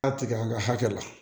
A tigɛ an ka hakɛ la